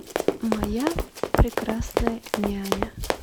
моя прекрасная няня